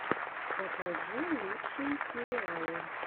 покажи лучшие сериалы